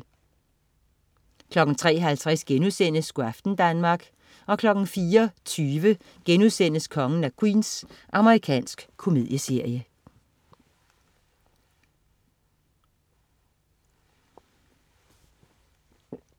03.50 Go' aften Danmark* 04.20 Kongen af Queens.* Amerikansk komedieserie